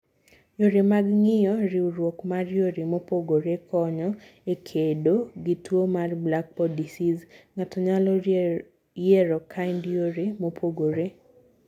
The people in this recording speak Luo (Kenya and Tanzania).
Yore mag ngiyo: riwrok mar yore mopogore konyo e kedo gi tuo mar black pod diseas. Ngato nyalo yiero kind yore mopogore.